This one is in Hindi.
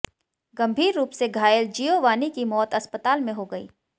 गंभीर रूप से घायल जियोवानी की मौत अस्पातल में हो गई